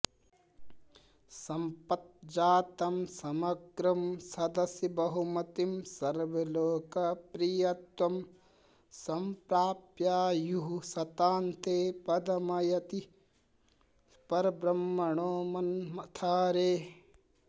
सम्पज्जातं समग्रं सदसि बहुमतिं सर्वलोकप्रियत्वं सम्प्राप्यायुश्शतान्ते पदमयति परब्रह्मणो मन्मथारेः